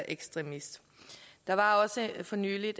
ekstremist der var for nylig